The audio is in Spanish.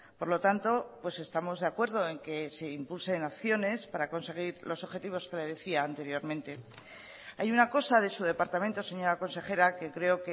por lo tanto pues estamos de acuerdo en que se impulsen acciones para conseguir los objetivos que le decía anteriormente hay una cosa de su departamento señora consejera que creo